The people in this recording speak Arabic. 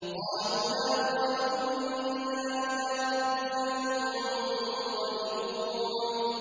قَالُوا لَا ضَيْرَ ۖ إِنَّا إِلَىٰ رَبِّنَا مُنقَلِبُونَ